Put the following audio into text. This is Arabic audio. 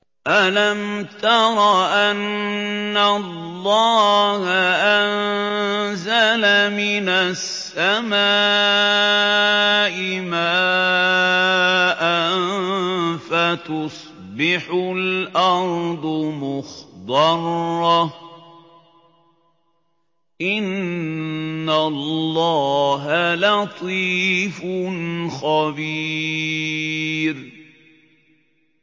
أَلَمْ تَرَ أَنَّ اللَّهَ أَنزَلَ مِنَ السَّمَاءِ مَاءً فَتُصْبِحُ الْأَرْضُ مُخْضَرَّةً ۗ إِنَّ اللَّهَ لَطِيفٌ خَبِيرٌ